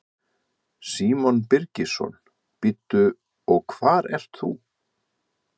Símon Birgisson: Bíddu, og hvar ert þú?